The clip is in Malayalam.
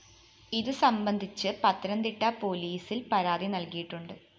ഇതുസംബന്ധിച്ച് പത്തനംതിട്ട പോലീസില്‍ പരാതി നല്‍കിയിട്ടുണ്ട്